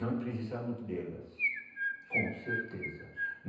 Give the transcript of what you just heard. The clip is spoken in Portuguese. Nós precisamos delas, com certeza.